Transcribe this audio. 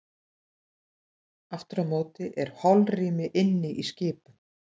Aftur á móti er holrými inni í skipum.